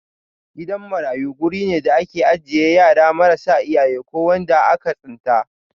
Gidan marayu guri ne da ake ajiye yara marasa iyaye ko waɗanda aka tsinta.